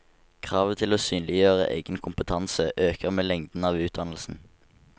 Kravet til å synliggjøre egen kompetanse øker med lengden av utdannelsen.